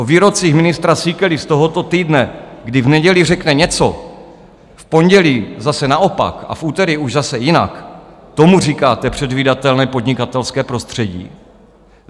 O výrocích ministra Síkely z tohoto týdne, kdy v neděli řekne něco, v pondělí zase naopak a v úterý už zase jinak - tomu říkáte předvídatelné podnikatelské prostředí?